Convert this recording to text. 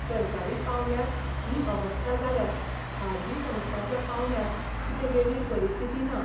सरकारी पावंड्यार ही अवस्था जाल्यार खाजगी संस्थांच्या पावंड्यार कितें वेगळी परिस्थिती ना.